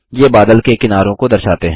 ये बादल के किनारों को दर्शाते हैं